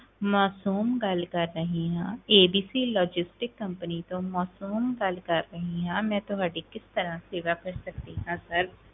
ਮਾਸੂਮ ਗੱਲ ਕਰ ਰਹੀ ਹਾਂ ABC logistic company ਤੋਂ ਮਾਸੂਮ ਗੱਲ ਕਰ ਰਹੀ ਹਾਂ, ਮੈਂ ਤੁਹਾਡੀ ਕਿਸ ਤਰ੍ਹਾਂ ਸੇਵਾ ਕਰ ਸਕਦੀ ਹਾਂ sir